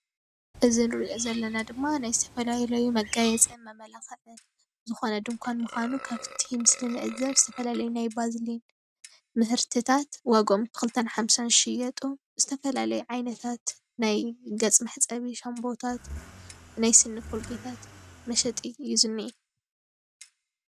እዚ እንሪኦ ዘለና ድማ ናይ ዝተፈላለዩ መጋየፅን መመላክዕን ዝኾነ ድንኳን ምኳኑ ካብ እቲ ምስሊ እንትንዕዘብ ዝተፈላለየ ናይ ባልዚን ምህርትታት ዋገኦም ብክልተን ሓምሳን ዝሽየጡ ዝተፈላለዩ ዓይነታት ናይ ገፅ መሕፀቢ ሻምቦታት ናይ ስኒ ኮልጌታት መሸጢ እዩ ዝኒኤ።